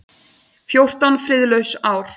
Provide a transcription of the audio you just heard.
Fjórtán friðlaus ár.